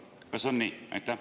Kas on nii?